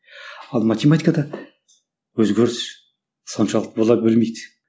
ал математикада өзгеріс соншалықты бола бермейді